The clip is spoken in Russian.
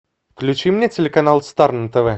включи мне телеканал стар на тв